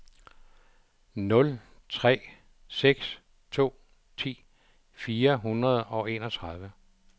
nul tre seks to ti fire hundrede og enogtredive